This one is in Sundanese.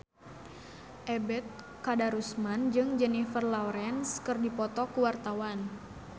Ebet Kadarusman jeung Jennifer Lawrence keur dipoto ku wartawan